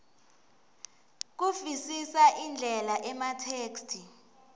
kuvisisa indlela ematheksthi